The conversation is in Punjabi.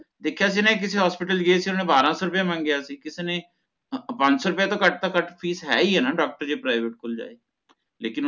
ਦੇਖਿਆ ਸੀ ਨਾ ਕਿਸੇ ਚ hospital ਗਏ ਸੀ ਗੇ ਓਹਨਾ ਨੇ ਬਾਰਹ ਸੌ ਰੁਪਇਆ ਮੰਗਿਆ ਸੀਗਾ ਕਿਸੇ ਨੇ ਪੰਜ ਸੌ ਰੁਪਏ ਤੋਂ ਘੱਟ ਤੋਂ ਘੱਟ ਫੀਸ ਹੈ ਹੀ ਨਾ doctor ਜੇ private ਕੋਲ ਜਾਈਏ ਲੇਕਿਨ ਓਹਨਾ ਨੇ ਕੋਈ